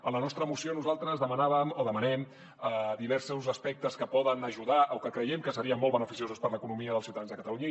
en la nostra moció nosaltres demanem diversos aspectes que poden ajudar o que creiem que serien molt beneficiosos per a l’economia dels ciutadans de catalunya